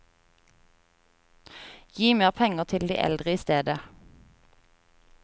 Gi mer penger til de eldre i stedet.